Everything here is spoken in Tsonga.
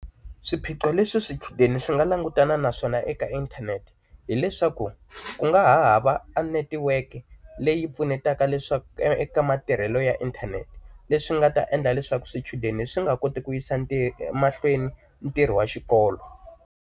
Swiphiqo leswi swichudeni swi nga langutana naswona eka inthanete hileswaku ku nga hava netiweke leyi pfunetaka leswaku eka matirhelo ya inthanete leswi nga ta endla leswaku swichudeni swi nga koti ku yisa ntirho emahlweni ntirho wa xikolo.